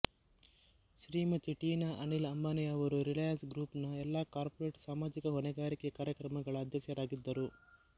ಶ್ರೀಮತಿ ಟೀನಾ ಅನಿಲ್ ಅಂಬಾನಿಯವರು Reliance group ನ ಎಲ್ಲಾ ಕಾರ್ಪೊರೇಟ್ ಸಮಾಜಿಕ ಹೊಣೆಗಾರಿಕೆ ಕಾರ್ಯಕ್ರಮಗಳ ಅದ್ಯಕ್ಷರಾಗಿದ್ದರು